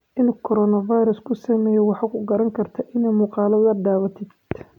Inu korona fairas kusameye waxa kukaranikartaa ina muqaladha dhawatidh.